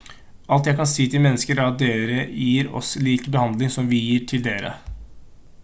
alt jeg kan si til mennesker er at dere gir oss lik behandling som vi gir til dere